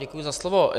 Děkuji za slovo.